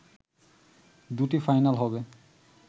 দুটি ফাইনাল হবে